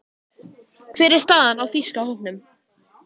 Hver er staðan á þýska hópnum?